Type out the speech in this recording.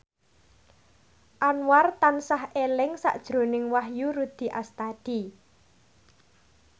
Anwar tansah eling sakjroning Wahyu Rudi Astadi